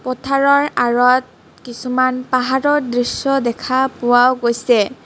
পথাৰৰ আঁৰত কিছুমান পাহাৰৰ দৃশ্য দেখা পোৱা গৈছে.